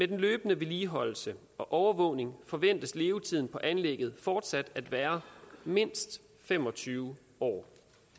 den løbende vedligeholdelse og overvågning forventes levetiden på anlægget fortsat at være mindst fem og tyve år